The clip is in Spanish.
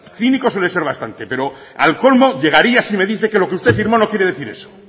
cínico suele ser bastante pero al colmo llegaría si me dice que lo que usted firmó no quiere decir eso